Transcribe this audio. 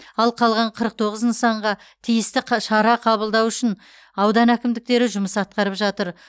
ал қалған қырық тоғыз нысанға тиісті қ шара қабылдау үшін аудан әкімдіктері жұмыс атқарып жатыр